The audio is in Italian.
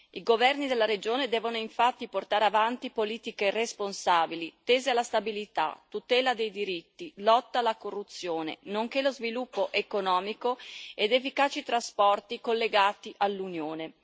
I governi della regione devono infatti portare avanti politiche responsabili tese a stabilità, tutela dei diritti, lotta alla corruzione, nonché sviluppo economico ed efficaci trasporti collegati all'Unione.